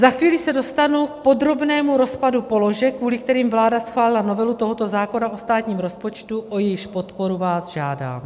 Za chvíli se dostanu k podrobnému rozpadu položek, kvůli kterým vláda schválila novelu tohoto zákona o státním rozpočtu, o jejíž podporu vás žádám.